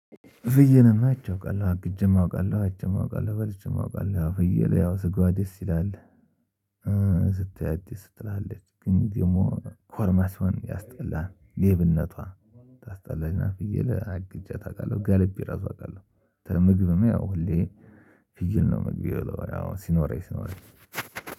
ፍየልማ አይቼ አውቃለሁ አግጄም አውቃለሁ አይቼም አውቃለሁ በልቼም አውቃለሁ። ፍየል ያው ስጋዋ ደስ ይላል እ ስታያት ደስ ትልሃለች ግን ደግሞ ኮርማ ሲሆን ያስጠላሃል ሌብነቷ ታሰጠላለች። ፍየል አግጄያት አውቃለሁ ጋልቤ እራሱ አውቃለሁ። ምግብም ያው ሁሌ ፍየል ነው ምግብ ምበላው ሲኖረኝ ሲኖረኝ።